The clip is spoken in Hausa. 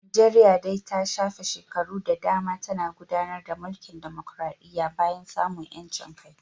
Najeriya dai ta shafe shekaru da dama tana gudanar da mulkin dimokradiyya bayan samun 'yancin kai